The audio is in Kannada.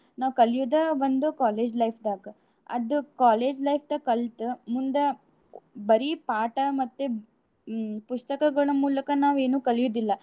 ನಾವ್ ಕಲಿಯೋದ ಒಂದ college life ದಾಗ. ಅದು college life ದಾಗ್ ಕಲ್ತ ಮುಂದ ಬರೀ ಪಾಠ ಮತ್ತೆ ಹ್ಮ್ ಪುಸ್ತಕಗಳ ಮೂಲಕ ನಾವ್ ಏನೂ ಕಲ್ಯೋದಿಲ್ಲ.